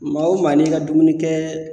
Maa wo maa n'i ka dumunikɛ